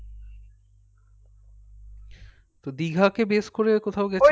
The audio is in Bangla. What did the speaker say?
তো দীঘা কে base করে কোথাও গেছেন